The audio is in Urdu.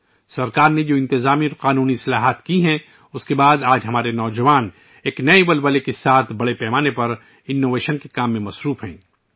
حکومت کی طرف سے کی گئی انتظامی اور قانونی اصلاحات کے بعد ، آج ہمارے نوجوان نئی توانائی کے ساتھ بڑے پیمانے پر اختراعات میں مصروف ہیں